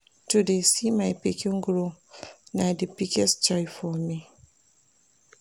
To dey see my pikin grow na di biggest joy for me.